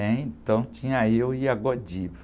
Então tinha eu e a.